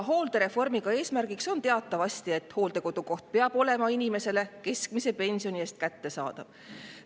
Hooldereformi eesmärk on teatavasti see, et hooldekodukoht peab olema inimesele keskmise pensioni eest kättesaadav.